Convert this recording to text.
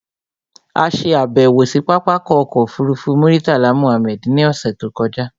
A ṣe àbẹ̀wò sí pápákọ̀ ọkọ̀ òfurufú Murtala Mohammed ní ọ̀ṣẹ̀ tó kọjá